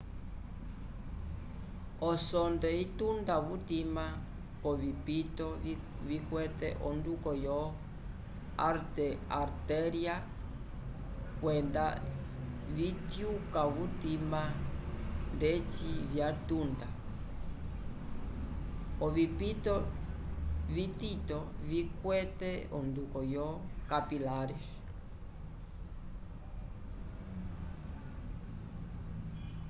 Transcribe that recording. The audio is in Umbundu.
osonde itunda vutima k'ovipito vikwete onduko yo artéria kwenda vityuka vutima ndeci vyatunda ovipito vitito vikwete onduko yo capilares